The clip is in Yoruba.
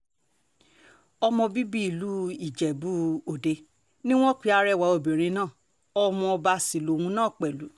ọmọ bíbí ìlú ijebu-òde ni wọ́n pe arẹwà obìnrin náà ọmọọba sí lòun náà pẹ̀lú